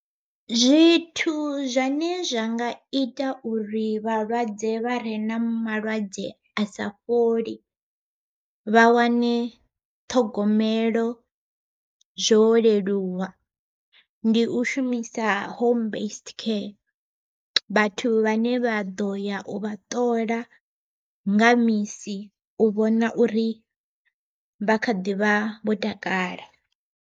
Zwithu zwane zwa nga ita uri vhalwadze vha re na malwadze a sa fholi, vha wane ṱhogomelo zwo leluwa. Ndi u shumisa Home Based Care vhathu vhane vha ḓo ya u vha ṱola nga misi u vhona uri vha kha ḓivha vho takala.